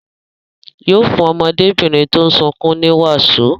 Yóò fún ọmọdébìnrin tó ń sunkún ní wàsó.